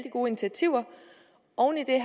gode initiativer